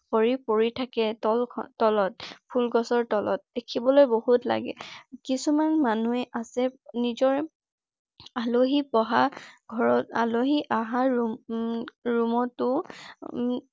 সৰি পৰি থাকে। তল তলত ফুল‌ গছৰ তলত দেখিবলৈ বহুত লাগে । কিছুমান মানুহে আছে নিজৰ আলহী বঢ়া ঘৰত আলহী আহা উম ৰুমতো উম